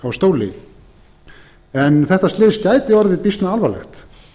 á stóli en þetta slys gæti orðið býsna alvarlegt